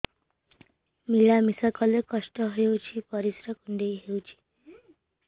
ମିଳା ମିଶା କଲେ କଷ୍ଟ ହେଉଚି ପରିସ୍ରା କୁଣ୍ଡେଇ ହଉଚି